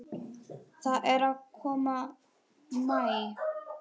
Það er að koma maí.